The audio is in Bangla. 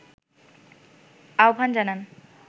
আহ্বান জানান